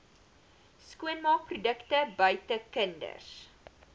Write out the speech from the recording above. skoonmaakprodukte buite kinders